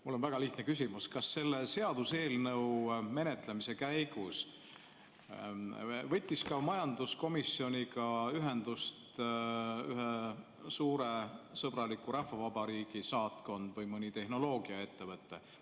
Mul on väga lihtne küsimus: kas selle seaduseelnõu menetlemise käigus võttis majanduskomisjoniga ühendust ühe suure sõbraliku rahvavabariigi saatkond või mõni tehnoloogiaettevõte?